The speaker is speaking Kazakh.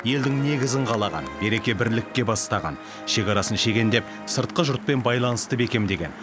елдің негізін қалаған береке бірлікке бастаған шекарасын шегендеп сыртқы жұртпен байланысты бекемдеген